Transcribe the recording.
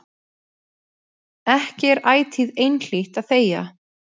Ekki er ætíð einhlítt að þegja.